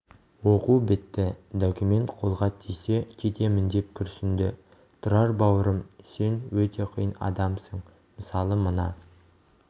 оқу бітті документ қолға тисе кетемін деп күрсінді тұрар бауырым сен өте қиын адамсың мысалы мына